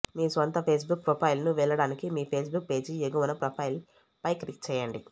మీ స్వంత ఫేస్బుక్ ప్రొఫైల్కు వెళ్లడానికి మీ ఫేస్బుక్ పేజీ ఎగువన ప్రొఫైల్పై క్లిక్ చేయండి